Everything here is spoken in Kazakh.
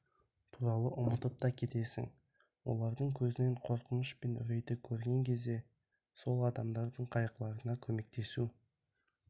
туралы ұмытып та кетесің олардың көзінен қорқыныш пен үрейді көрген кезде сол адамдардың қайғыларына көмектесу